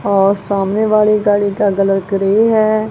और सामने वाली गाड़ी का कलर ग्रे है।